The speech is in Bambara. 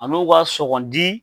A n'o b'a sɔgɔndi